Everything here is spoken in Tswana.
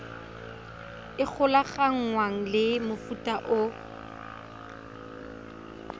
e golaganngwang le mofuta o